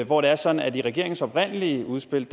hvor det er sådan at i regeringens oprindelige udspil